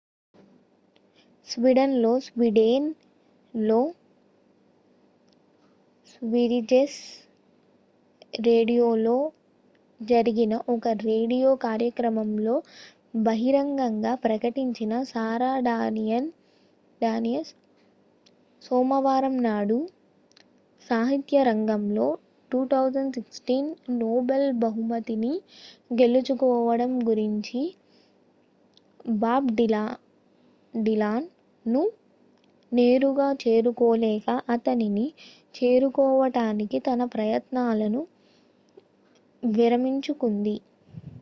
Sweden లో Sweden లో Sveriges రేడియోలో జరిగిన ఒక రేడియో కార్యక్రమంలో బహిరంగంగా ప్రకటించిన సారా డానియస్ సోమవారం నాడు సాహిత్యరంగంలో 2016 నోబెల్ బహుమతిని గెలుచుకోవడం గురించి బాబ్ డిలాన్ ను నేరుగా చేరుకోలేక అతనిని చేరుకోవటానికి తన ప్రయత్నాలను విరమించుకుంది